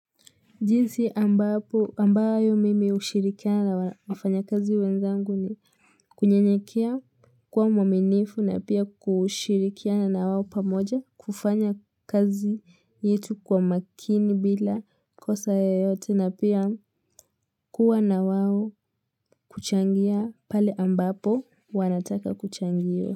Jinsi ambayo mimi hushirikiana na wafanya kazi wenzangu ni kunyenyekea kwa uaminifu na pia kushirikiana na wao pamoja kufanya kazi yetu kwa makini bila kosa ya yote na pia kuwa na wao kuchangia pale ambapo wanataka kuchangiwa.